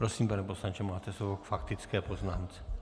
Prosím, pane poslanče, máte slovo k faktické poznámce.